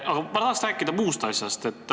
Aga ma tahan muust asjast rääkida.